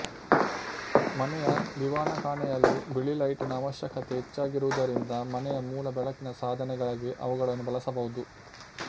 ಮನೆಯ ದಿವಾನಖಾನೆಯಲ್ಲಿ ಬಿಳಿ ಲೈಟ್ ನ ಆವಶ್ಯಕತೆ ಹೆಚ್ಚಾಗಿರುವುದರಿಂದ ಮನೆಯ ಮೂಲ ಬೆಳಕಿನ ಸಾಧನೆಗಾಗಿ ಅವುಗಳನ್ನು ಬಳಸಬಹುದು